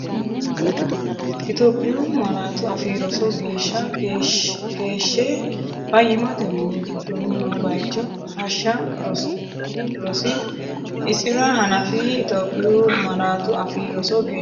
Itophiyu Malaatu Afii Roso geeshsha keeshshe fayyimmate mini giddoonni noo bayicho hashsha rosi- isi’ra hanafi Itophiyu Malaatu Afii Roso geeshsha.